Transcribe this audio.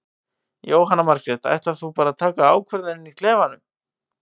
Jóhanna Margrét: Ætlar þú bara að taka ákvörðun inn í klefanum?